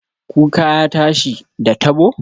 Kuka ya tashi, da tabo